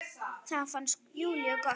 Það fannst Júlíu gott.